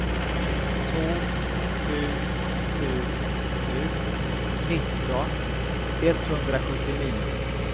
två sju sju sju nitton etthundrasjuttionio